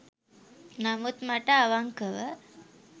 නමුත් මට අවංකව